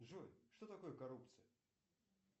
джой что такое коррупция